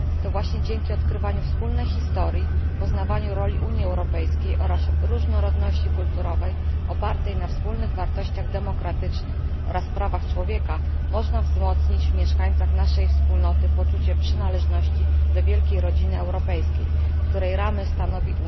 To właśnie dzięki odkrywaniu wspólnej historii, poznawaniu roli Unii Europejskiej oraz różnorodności kulturowej opartej na wspólnych wartościach demokratycznych oraz prawach człowieka, można wzmocnić w mieszkańcach naszej wspólnoty poczucie przynależności do wielkiej rodziny europejskiej, której ramy stanowi